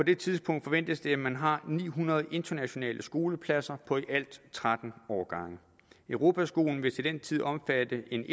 det tidspunkt forventes det at man har ni hundrede internationale skolepladser på i alt tretten årgange europaskolen vil til den tid omfatte en